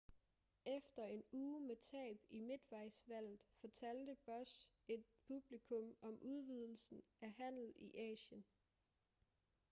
efter en uge med tab i midtvejsvalget fortalte bush et publikum om udvidelsen af handel i asien